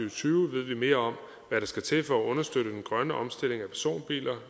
og tyve ved vi mere om hvad der skal til for at understøtte den grønne omstilling af personbiler